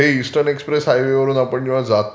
हे eastern express हायवेवरून आपण जेव्हा जातो...